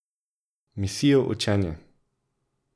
Misijo učenje!